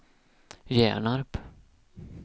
Hjärnarp